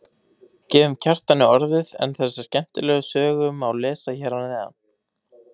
Gefum Kjartani orðið en þessa skemmtilegu sögu má lesa hér að neðan.